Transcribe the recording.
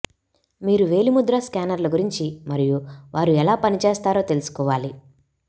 మీరు వేలిముద్ర స్కానర్ల గురించి మరియు వారు ఎలా పనిచేస్తారో తెలుసుకోవాలి